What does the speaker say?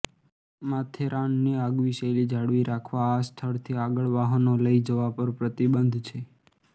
માથેરાનની આગવી શૈલી જાળવી રાખવા આ સ્થળથી આગળ વાહનો લઈ જવા પર પ્રતિબંધ છે